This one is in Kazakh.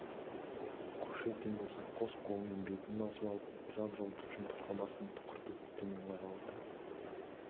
кушекин болса қос қолымен бетін басып алып жап-жалтыр жұмыртқа басын тұқыртып төмен қарап отыр